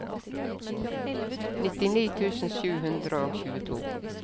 nittini tusen sju hundre og tjueto